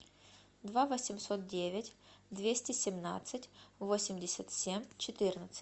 два восемьсот девять двести семнадцать восемьдесят семь четырнадцать